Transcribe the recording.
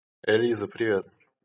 элиза привет